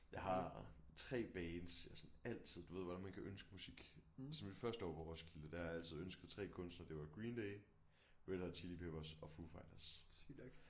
Jeg har 3 bands jeg sådan altid du ved godt hvordan man kan ønske musik siden mit første år på Roskilde der har jeg altid ønsket 3 kunstnere det var Green Day Red Hot Chili Peppers og Foo Fighters